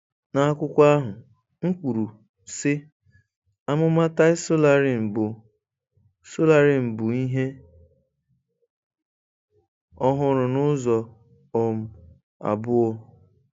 N'akwụkwọ ahụ, m kwuru, sị, 'Amụma Tai Solarin bụ Solarin bụ ihe ọhụrụ n'ụzọ um abụọ.